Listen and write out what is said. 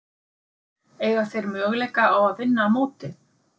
Eiga þeir möguleika á að vinna mótið?